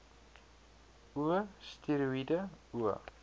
o steroïede o